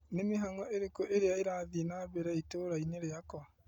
Nĩ mĩhang'o ĩrĩkũ ĩrĩa ĩrathiĩ na mbere itũra-inĩ rĩakwa ?